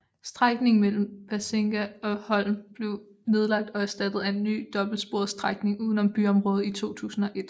Strækningen mellem Bergsenga og Holm blev nedlagt og erstattet af en ny dobbeltsporet strækning udenom byområdet i 2001